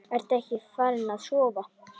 Ertu ekkert farin að sofa!